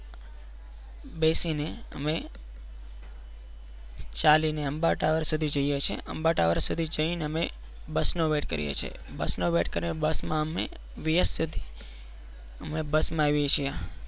બેસીને અમ ચાલીને અંબા ટાવર સુધી જઈએ છીએ અંબા ટાવર સુધી જઈને અમે બસ નો વેટ કરીએ છીએ બસનો wait કરી અને બસમાં અમે બીએસ સુધી અમે બસમાં આવીએ છીએ.